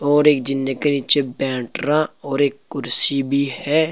और एक जिन्ने के नीचे बैटरा और एक कुर्सी भी है।